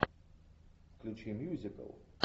включи мюзикл